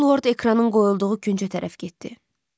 Halvord ekranın qoyulduğu küncə tərəf getdi.